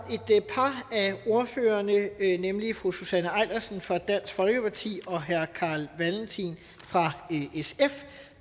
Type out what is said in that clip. af ordførerne nemlig fru susanne eilersen fra dansk folkeparti og herre carl valentin fra sf